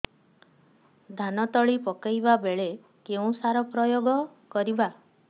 ଧାନ ତଳି ପକାଇବା ବେଳେ କେଉଁ ସାର ପ୍ରୟୋଗ କରିବା